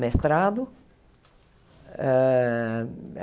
mestrado. Hã